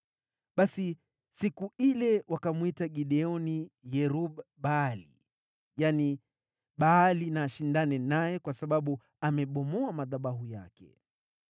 Basi siku ile wakamwita Gideoni “Yerub-Baali,” yaani, “Baali na ashindane naye,” kwa sababu alibomoa madhabahu yake.